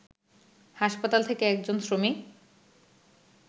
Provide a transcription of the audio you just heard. হাসপাতাল থেকে একজন শ্রমিক